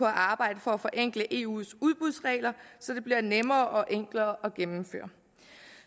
arbejde for at forenkle eus udbudsregler så det bliver nemmere og enklere at gennemføre